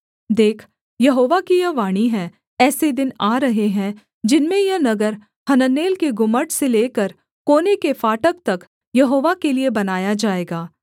देख यहोवा की यह वाणी है ऐसे दिन आ रहे हैं जिनमें यह नगर हननेल के गुम्मट से लेकर कोने के फाटक तक यहोवा के लिये बनाया जाएगा